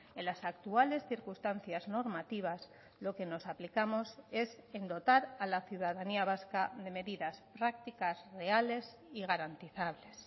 en las actuales circunstancias normativas lo que nos aplicamos es en dotar a la ciudadanía vasca de medidas prácticas reales y garantizables